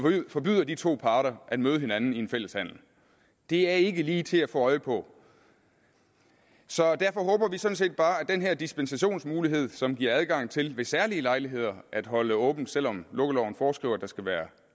forbyder de to parter at møde hinanden i en fælles handel det er ikke lige til at få øje på så derfor håber vi sådan set bare at den her dispensationsmulighed som giver adgang til ved særlige lejligheder at holde åbent selv om lukkeloven foreskriver at der skal være